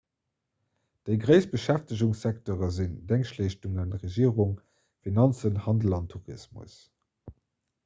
déi gréisst beschäftegungssekteure sinn déngschtleeschtungen regierung finanzen handel an tourismus